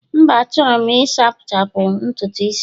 mba, Achọrọ m Ị sachapụ ntutu isi'm